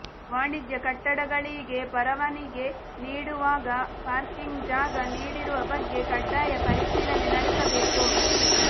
ವಾಣಿಜ್ಯ ಕಟ್ಟಡಗಳಿಗೆ ಪರವಾನಿಗೆ ನೀಡುವಾಗ ಪಾರ್ಕಿಂಗ್ಗೆ ಜಾಗ ನೀಡಿರುವ ಬಗ್ಗೆ ಕಡ್ಡಾಯ ಪರಿಶೀಲನೆ ನಡೆಸಬೇಕು